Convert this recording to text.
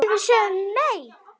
Við sögðum nei, segir Dagur.